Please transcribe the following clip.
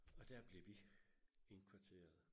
Og dér blev vi indkvarteret